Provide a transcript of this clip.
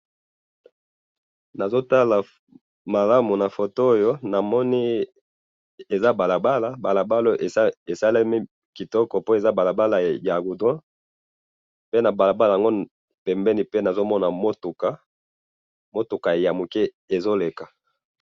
Nazotala malamu na foto oyo, namoni eza balabala, balabala oyo esalemi kitoko po eza balabala ya goudron, pe na balabala, pembeni pe nazomona mutuka, mutuka ya muke ezoleka.